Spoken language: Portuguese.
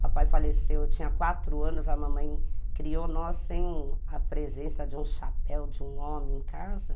Papai faleceu, eu tinha quatro anos, a mamãe criou nós sem a presença de um chapéu, de um homem em casa.